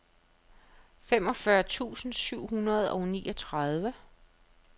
femogfyrre tusind syv hundrede og niogtredive